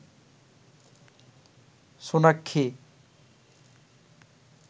Sonakshi